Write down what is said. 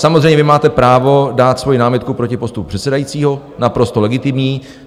Samozřejmě, vy máte právo dát svoji námitku proti postupu předsedajícího, naprosto legitimní.